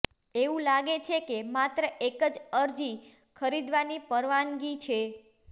એવું લાગે છે કે માત્ર એક જ અરજી ખરીદવાની પરવાનગી છે